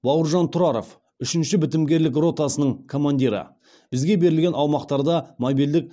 бауыржан тұраров үшінші бітімгерлік ротасының командирі бізге берілген аумақтарда мобильдік